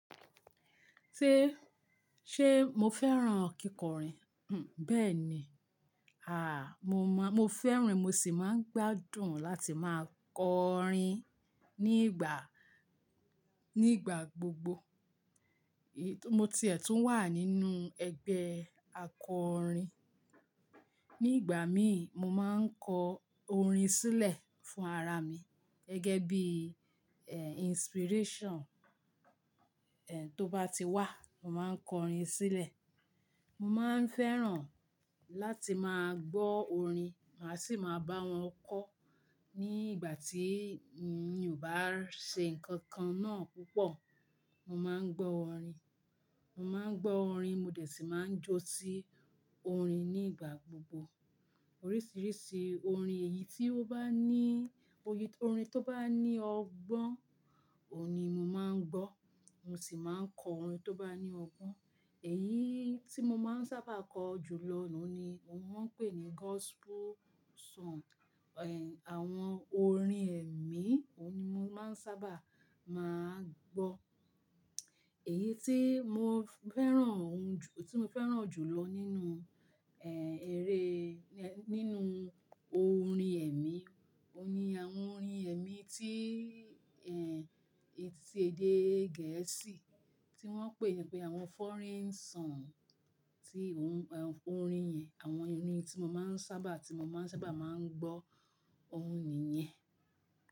Ṣé, ṣe mo fẹ́ràn kíkọrin? Hn, bẹ́ẹ̀ ni. Àh, mo mọ, mo fẹ́ràn, mo sì máa ń gbádùn láti máa kọ orin nígbà, nígbà gbogbo. Mo ti è tùn wà nínú ẹgbẹ́ akọrin. Nígbà mí, mo máa ń kọ orin sílẹ̀ fún ara mi gẹ́gẹ́ bí, eh, inspiration, eh, tó bá ti wà, mo máa ń kọ orin sílẹ̀. Mo máa ń fẹ́ràn láti máa gbọ́ orin, màá sì máa bá wọn kọ. Ní ìgbà tí mi ò bá ṣe nǹkan kan náà púpọ̀, mo máa ń gbọ́ orin. Mo máa ń gbọ́ orin, mo dẹ̀ sì máa ń jó sí orin nígbà gbogbo. Oríṣìíríṣìí orin, èyí tí ó bá ní, oy-- orin tó bá ní ọgbọ́n, òun ni mo máa ń gbọ́. Mo sì máa ń kọ orin tó bá ní ọgbọ́n. Èyí tí mo máa ń sábà kọ jù lọ ní òun ni wọ́n ń pè ní gospel song. Eh, àwọn orin ẹ̀mí, òun ni mo máa ń sábà máa ń gbọ́. Èyí tí mo fẹ́ràn ohun ju, tí mo fẹ́ràn jù lọ nínú, eh, eré, nínú orin ẹ̀mí, òun ni àwọn orin ẹ̀mí tí, eh, etí, èdè Gẹ̀ẹ́sì tí wọ́n ń pè pé àwọn foreign song. Ti ohun, orin yẹn, àwọn orin ni tí mo máa ń sábà, tí mo máa ń sábà máa ń gbọ́, òun nìyẹn.